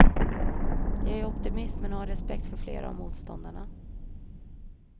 Jag är optimist men har respekt för flera av motståndarna.